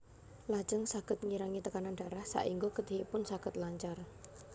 Lajeng saged ngirangi tekanan darah saéngga getihipun saged lancar